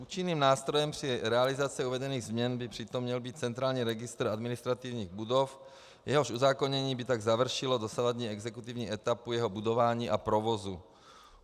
Účinným nástrojem při realizaci uvedených změn by přitom měl být centrální registr administrativních budov, jehož uzákonění by tak završilo dosavadní exekutivní etapu jeho budování a provozu.